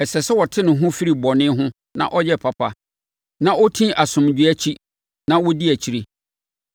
Ɛsɛ sɛ ɔte ne ho firi bɔne ho na ɔyɛ papa na ɔti asomdwoeɛ akyi na ɔdi akyire.